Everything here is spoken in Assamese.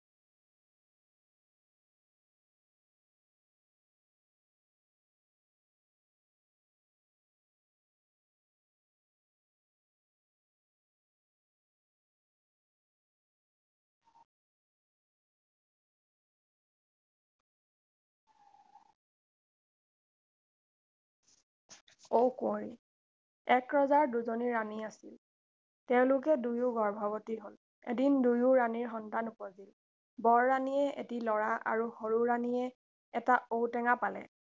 ঔ কুঁৱৰী এক ৰজাৰ দুজনী ৰাণী আছিল তেওঁলোকে দুয়ো গৰ্ভৱতী হ’ল এদিন দুয়ো ৰাণীৰ সন্তান উপজিল বৰ ৰাণীয়ে এটি ল’ৰা আৰু সৰু ৰাণীয়ে এটা ঔ টেঙা পালে